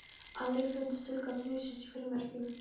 Aðrir fundu tilgang lífsins í frímerkjum.